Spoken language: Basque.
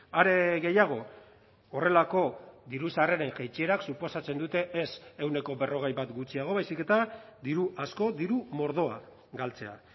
are gehiago horrelako diru sarreren jaitsierak suposatzen dute ez ehuneko berrogei bat gutxiago baizik eta diru asko diru mordoa galtzea